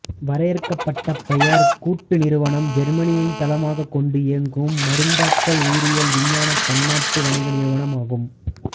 வரையறுக்கப்பட்ட பேயர் கூட்டு நிறுவனம் ஜெர்மனியைத் தளமாகக் கொண்டு இயங்கும் மருந்தாக்கல் உயிரியல் விஞ்ஞான பன்னாட்டு வணிக நிறுவனம் ஆகும்